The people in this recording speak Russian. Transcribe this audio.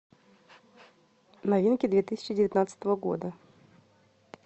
новинки две тысячи девятнадцатого года